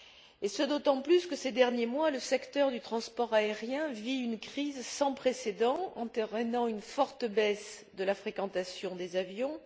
Et ce d'autant plus que, ces derniers mois, le secteur du transport aérien vit une crise sans précédent entraînant une forte baisse de la fréquentation des avions.